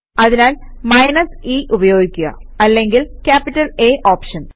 അതിനാൽ minus e ഉപയോഗിക്കുക അല്ലെങ്കിൽ ക്യാപിറ്റല് A ഓപ്ഷൻ